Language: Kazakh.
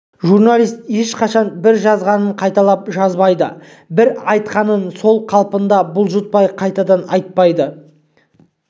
журналист ешқашан бір жазғанын қайталап жазбайды бір айтқанын сол қалпында бұлжытпай қайтадан айтпайды